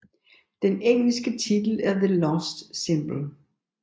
Den engelske titel er The Lost Symbol